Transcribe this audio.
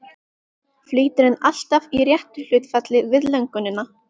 Flýtirinn alltaf í réttu hlutfalli við löngunina.